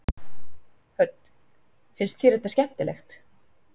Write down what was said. Hödd: Finnst þér þetta skemmtilegt?